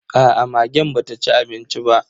Aa, magen ba ta ci abincin ba.